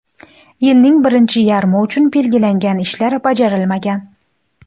Yilning birinchi yarmi uchun belgilangan ishlar bajarilmagan.